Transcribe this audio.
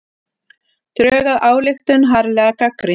Drög að ályktun harðlega gagnrýnd